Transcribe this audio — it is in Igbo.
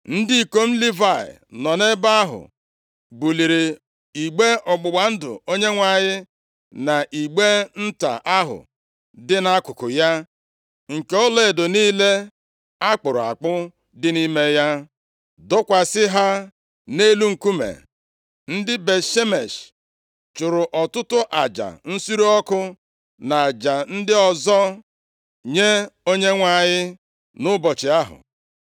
Ndị ikom Livayị nọ nʼebe ahụ buliri igbe ọgbụgba ndụ Onyenwe anyị na igbe nta ahụ dị nʼakụkụ ya nke ọlaedo niile a kpụrụ akpụ dị nʼime ya, dọkwasị ha nʼelu nkume. Ndị Bet-Shemesh + 6:15 Bet-Shemesh bụ otu nʼime obodo ndị Livayị ketara. \+xt Jos 21:16\+xt* Ọ bụ naanị ndị Livayị na-ebu igbe ọgbụgba ndụ Chineke. \+xt Dit 10:18\+xt* chụrụ ọtụtụ aja nsure ọkụ na aja ndị ọzọ nye Onyenwe anyị nʼụbọchị ahụ.